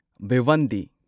Bhiwandi